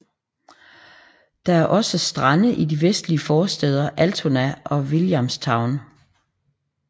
Der er også strande i de vestlige forstæder Altona og Williamstown